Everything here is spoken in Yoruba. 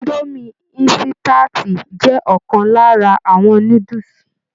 Idomi insitati jẹ ọkan lára àwọn núdúsí.